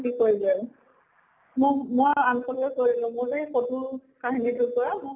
কি কৰিবি আৰু। ম মই unfollow য়ে কৰি দিলো। মোৰ টো এই photo ৰ কাহিনী টোৰ পৰা